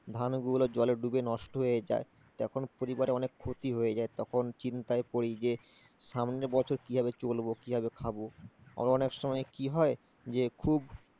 ধানগুলো জলে ডুবে নষ্ট হয়ে যায় তখন পরিবারে অনেক ক্ষতি হয়ে যায় তখন চিন্তায় পড়ি যে সামনের বছর কিভাবে চলবো কিভাবে খাবো, আবার অনেক সময় কি হয় যে খুব,